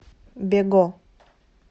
бего